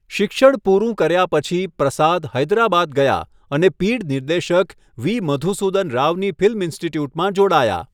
શિક્ષણ પૂરું કર્યા પછી, પ્રસાદ હૈદરાબાદ ગયા અને પીઢ નિર્દેશક વી. મધુસુધન રાવની ફિલ્મ ઇન્સ્ટિટ્યૂટમાં જોડાયા.